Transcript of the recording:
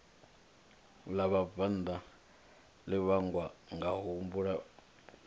ḽa vhabvannḓa ḽi vhangwa ngakuhumbulele